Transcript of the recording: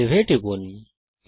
save এ টিপুন